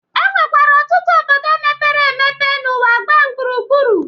E nwekwara ọtụtụ obodo mepere emepe n'ụwa gbaa gburugburu.